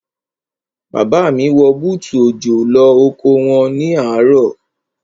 Bàbá mi wọ bútù òjò lọ oko wọn ní àárọ̀.